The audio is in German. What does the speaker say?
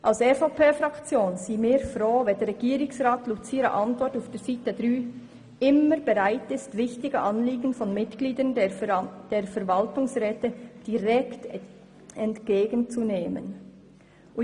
Die EVP-Fraktion ist froh, wenn der Regierungsrat mit seiner Antwort auf Seite 3 «immer bereit» ist, «wichtige Anliegen von Mitgliedern der Verwaltungsräte direkt entgegen zu nehmen».